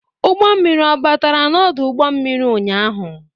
Ụgbọ mmiri ọbatara n'ọdụ ụgbọ mmiri ụnyaahụ?